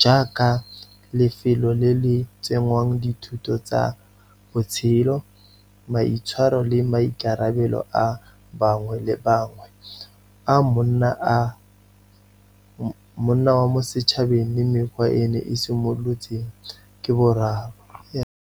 jaaka lefelo le le tsenngwang dithuto tsa botshelo, maitshwaro le maikarabelo a bangwe le bangwe, a monna wa mo setšhabeng le mekgwa e ne e simolotseng ke boraro.